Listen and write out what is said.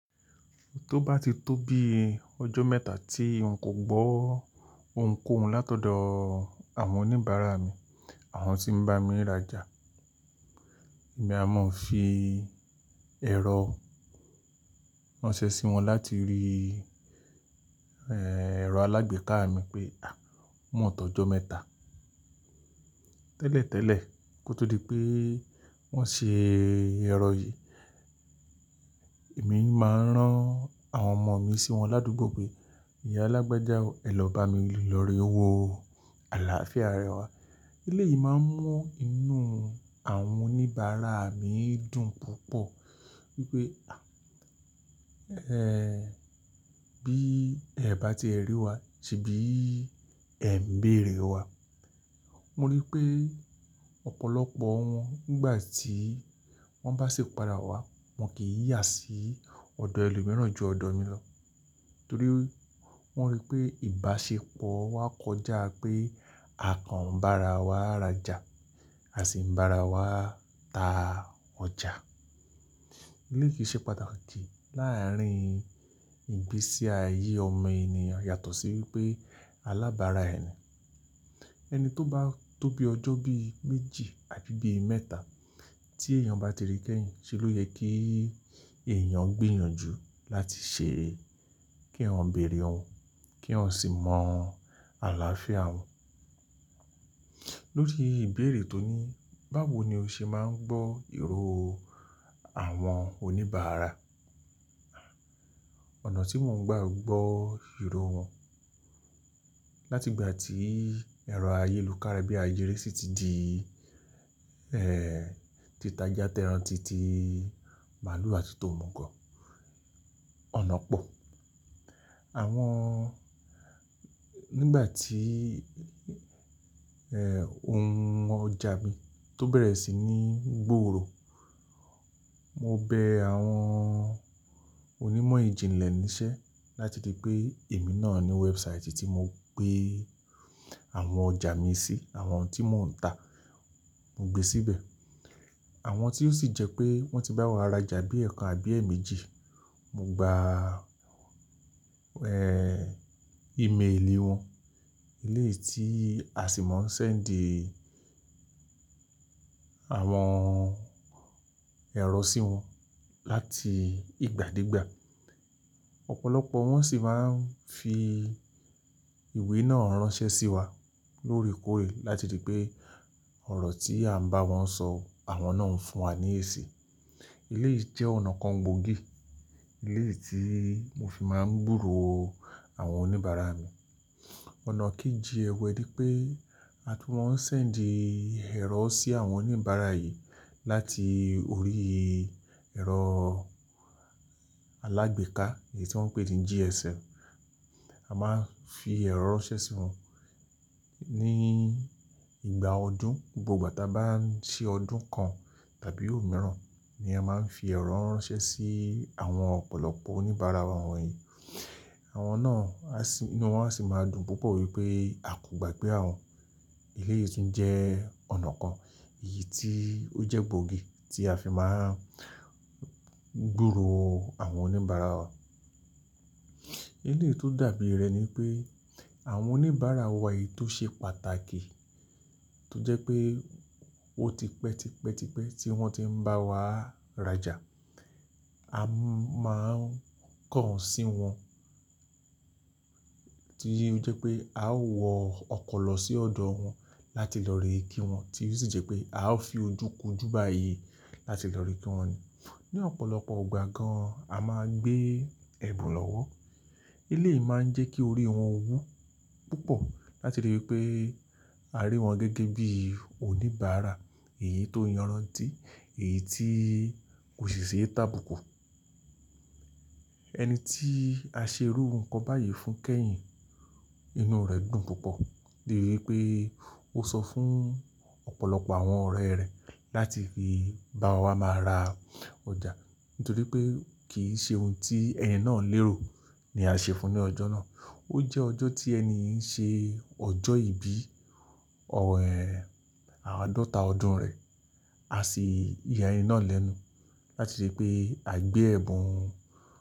Tó bá ti tó bí ọjọ́ mẹ́ta tí n kò gbọ́ ohunkóhun látọ̀dọ̀ àwọn oníbàárà mi, àwọn tí ń bá mi rájà, èmi a máa fi ẹ̀rọ ránṣẹ́ sí wọn láti rí ẹ̀rọ alágbèéká mi pé a ó mòn tọ̀ọ́ ọjọ́ mẹ́ta. Tẹ́lẹ̀tẹ́lẹ̀ kó tó di pé wọ́n ṣe ẹ̀rọ yìí, èmi máa ń rán àwọn ọmọ mi sí wọn ládùúgbò pé "Ìyá lágbájá a o, ẹ lọ bá mi lọ̀rè wo, àlàáfíà rẹ wá." eléyìí yìí máa ń mú inú àwọn oníbàárà mi dùn púpọ̀ wípé bí ẹ̀ bá ti ẹ rí wa, ṣì bí ẹ̀ ń bèèrè wa. Mo rí pé ọ̀pọ̀lọpọ̀ wọn nígbà tí wọ́n bá ṣi padàwá, wọ́n kì í yà sí ọ̀dọ̀ ẹlò mìíràn ju ọ̀dọ̀ mi lọ. Torí wọ́n rí pé ìbáṣepọ̀ wa kọjá pé àkàn bara wa rájà, à sì ń bá ra wa ta ọjà. Elé yìí ṣe pàtàkì láàárín ìgbésí ayé ọmọ ènìyàn yàtọ̀ sí wípé alábàárà ẹni. Ẹni tó bá tó bí ọjọ́ bí méjì àti bí mẹ́ta tí èèyàn bá ti rí kẹ́yìn, ṣe ló yẹ kí èèyàn gbìyànjú láti ṣe kí wọn bèèrè wọn, kí wọn sì mọ àlàáfíà wọn. Lórí ìbéèrè tó ní báwo ni o ṣe máa ń gbọ́ ìró àwọn oníbàárà, ọ̀nà tí mò ń gbà gbọ́ ìró wọn láti ìgbà tí ẹ̀rọ ayélukára bí àyẹ̀rẹ́ sì ti di ti tajá tẹran titi, màlúù àti tòmọ̀gọ̀, ọ̀nà pọ̀. Àwọn-- nígbà tí ohun ọjà mi tó bẹ̀rẹ̀ sí ní gbòòrò, mo bẹ àwọn onímọ̀ ìjìnlẹ̀ níṣẹ́ láti di pé èmi náà ní website tí mo gbé àwọn ọjà mi sí, àwọn tí mò ń tà, mo gbé síbẹ̀. Àwọn tí ó sì jẹ́ pé wọ́n ti bá wa rájà bí ẹ̀kan àbí èjì méjì, mo gba email wọn, eléyìí tí a sì máa ń ṣe ń dí àwọn ẹ̀rọ sí wọn láti ìgbàdégbà. Ọ̀pọ̀lọpọ̀ wọ́n sì máa ń fi ìwé náà ránṣẹ́ sí wa lórí kórè láti ri pé ọ̀rọ̀ tí à ń bá wọn sọ, àwọn náà ń fún wa ní èsì. Elé yìí jẹ́ ọ̀nà kan gbòógì, elé yìí tí mo fi máa ń gbòòrò àwọn oníbàárà mi. Ọ̀nà kejí ẹ wẹ ni pé, àtún mo n ṣe ń dí ẹ̀rọ sí àwọn oníbàárà yìí láti orí ẹ̀rọ alágbèéká èyí tí wọ́n ń pè ní GSM. A máa ń fi ẹ̀rọ ránṣẹ́ sí wọn ní ìgbà ọdún. Gbogbo ìgbà tí a bá ń ṣe ọdún kan tàbí òmiíràn ni a máa ń fi ẹ̀rọ ránṣẹ́ sí àwọn ọ̀pọ̀lọpọ̀ oníbàárà wa wọ̀nyí. Àwọn náà á sì, inú wọn á sì máa dùn púpọ̀ wípé a kò gbàgbé àwọn. Elé yìí sì ń jẹ́ ọ̀nà kan, èyí tí ó jẹ́ gbòógì tí a fi máa ń gbòòrò àwọn oníbàárà wa. Elé yìí tó dàbí rẹ̀ ni pé àwọn oníbàárà wa yìí tó ṣe pàtàkì tó jẹ́ pé ó ti pẹ́, ti pẹ́, ti pẹ́ tí wọ́n ti ń bá wa rájà, a máa ń kàn án sí wọn. Tí ó jẹ́ pé a ó wọ ọkọ̀ lọ sí ọ̀dọ̀ wọn láti lọ ríi kí wọn tí ó sì jẹ́ pé a ó fi ojú kun jú báyìí láti lọ rí wọn. Ni ọ̀pọ̀lọpọ̀ ìgbà gan-an, a máa ń gbé ẹ̀bùn lọ́wọ́. Elé yìí máa ń jẹ́ kí orí wọn wú púpọ̀ láti rí wípé a rí wọn gẹ́gẹ́ bí oníbàárà èyí tó yànrántí, èyí tí kò ṣe sí ẹ tábùkù. Ẹni tí a ṣe irú n kan báyìí fún kẹ́yìn, inú rẹ̀ dùn púpọ̀ láti rí wípé ó sọ fún ọ̀pọ̀lọpọ̀ àwọn ọ̀rẹ́ rẹ̀ láti fi bá wa máa ra ọjà. Nítorí pé kì í ṣe ohun tí ẹni náà lérò ní à ń ṣe fún ní ọjọ́ náà. Ó jẹ́ ọjọ́ tí ẹni ń ṣe ọjọ́ ìbí àádọ́ta ọdún rẹ̀, a sì ya ẹni náà lẹ́nu láti rí pé à ń gbé ẹ̀bùn.